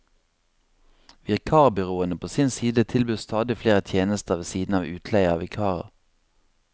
Vikarbyråene på sin side tilbyr stadig flere tjenester ved siden av utleie av vikarer.